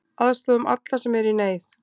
Aðstoðum alla sem eru í neyð.